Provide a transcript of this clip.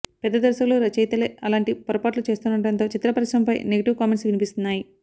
పెద్ద దర్శకులు రచయితలే అలాంటి పొరపాట్లు చేస్తుండడంతో చిత్ర పరిశ్రమపై నెగిటివ్ కామెంట్స్ వినిపిస్తున్నాయి